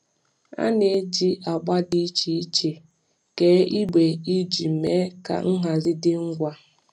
A na-eji agba dị iche iche kee igbe iji mee ka nhazi dị ngwa.